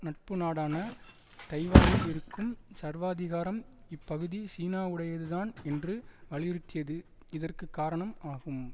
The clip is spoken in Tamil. நட்புநாடான தைவானில் இருக்கும் சர்வாதிகாரம் இப்பகுதி சீனாவுடையதுதான் என்று வலியுறுத்தியது இதற்கு காரணம் ஆகும்